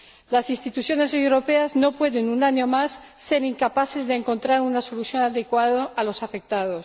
Las instituciones europeas no pueden, un año más, ser incapaces de encontrar una solución adecuada para los afectados.